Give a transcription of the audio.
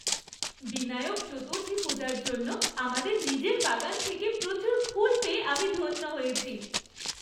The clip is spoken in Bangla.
বিনায়ক চতুর্থী পূজার জন্য আমাদের নিজের বাগান থেকে প্রচুর ফুল পেয়ে আমি ধন্য হয়েছি।